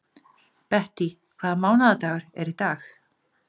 Bettý, hvaða mánaðardagur er í dag?